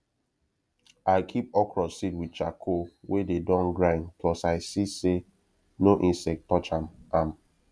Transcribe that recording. i keep okra seed with charcoal wey dey don grind plus i see say no insect touch ahm ahm